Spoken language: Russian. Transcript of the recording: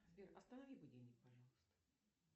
сбер останови будильник пожалуйста